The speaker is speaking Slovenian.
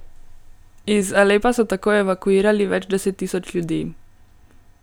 Iz Alepa so tako evakuirali več deset tisoč ljudi.